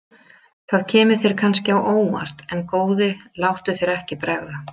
Það kemur þér kannski á óvart en góði láttu þér ekki bregða.